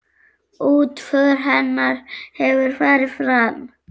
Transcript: Útför hennar hefur farið fram.